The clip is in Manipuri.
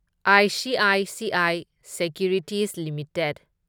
ICICI securities limited